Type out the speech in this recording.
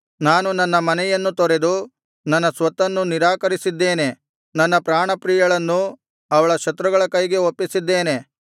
ನಾನು ನನ್ನ ಮನೆಯನ್ನು ತೊರೆದು ನನ್ನ ಸ್ವತ್ತನ್ನು ನಿರಾಕರಿಸಿದ್ದೇನೆ ನನ್ನ ಪ್ರಾಣಪ್ರಿಯಳನ್ನು ಅವಳ ಶತ್ರುಗಳ ಕೈಗೆ ಒಪ್ಪಿಸಿದ್ದೇನೆ